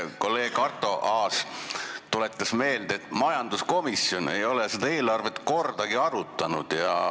Kolleeg Arto Aas tuletas meelde, et majanduskomisjon ei ole seda eelarvet kordagi arutanud.